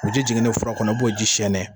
O ji jiginnen fura kɔnɔ, i b'o ji sɛɛnɛ.